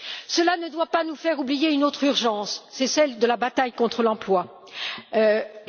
Cela ne doit pas nous faire oublier une autre urgence, celle de la bataille contre le chômage.